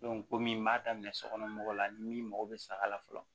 komi n b'a daminɛ sokɔnɔ mɔgɔw la min mako be saga la fɔlɔ